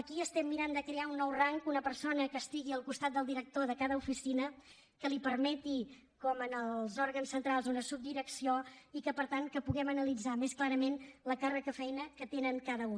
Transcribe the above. aquí estem mirant de crear un nou rang una persona que estigui al costat del director de cada oficina que li permeti com en els òrgans centrals una subdirecció i que per tant puguem analitzar més clarament l’encàrrec de feina que tenen cada un